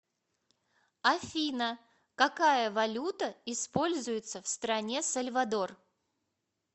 афина какая валюта используется в стране сальвадор